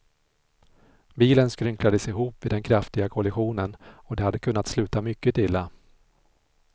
Bilen skrynklades ihop vid den kraftiga kollisionen och det hade kunnat sluta mycket illa.